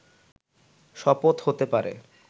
শপথ হতে পারে